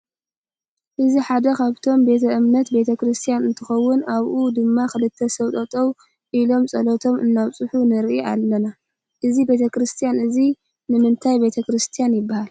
እዚ ሓደ ካብቶም ቤተእምነታት ቤተክርስትያን እንትከውን ኣብኢ ድማ ክልተ ሰብ ጠጠው ኢሎም ፀለቶም እንዳብፅሑ ንርኢ ኣና። እዚ ቤተክርስትያን እዚ እምንታይ ቤተክርስትያን ይበሃል?